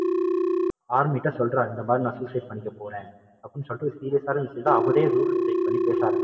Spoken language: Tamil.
army ட்ட சொல்றாங்க இந்தமாதிரி நான் suicide பண்ணிக்க போறேன். அப்படின்னு சொல்லிட்டு ஒரு serious ஆன விஷயத்த அவரே rule அ break பண்ணி பேச ஆரம்பிச்சுருறாரு.